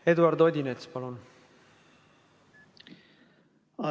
Eduard Odinets, palun!